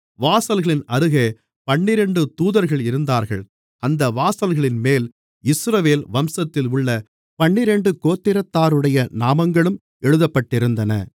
வாசல்களின் அருகே பன்னிரண்டு தூதர்களிருந்தார்கள் அந்த வாசல்களின்மேல் இஸ்ரவேல் வம்சத்தில் உள்ள பன்னிரண்டு கோத்திரத்தாருடைய நாமங்களும் எழுதப்பட்டிருந்தன